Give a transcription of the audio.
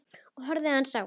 Ég horfði aðeins á